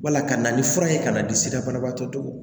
Wala ka na ni fura ye ka na di sira banabaatɔw